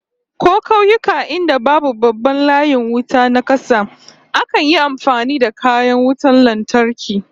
Ko kauyuka inda babu babban layin wuta na kasa, akan yi amfani da kayan wutan lantarki